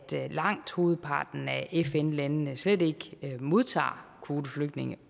langt hovedparten af fn landene slet ikke modtager kvoteflygtninge